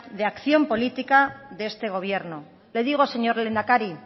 de acción política de este gobierno le digo señor lehendakari